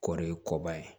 Kɔri ye kɔba ye